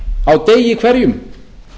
á degi hverjum